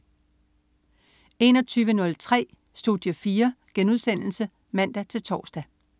21.03 Studie 4* (man-tors)